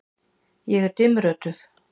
Ég er dimmrödduð.